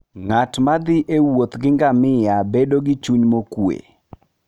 Ng'at ma thi e wuoth gi ngamia bedo gi chuny mokuwe.